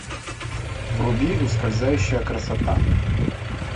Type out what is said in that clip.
вруби ускользающая красота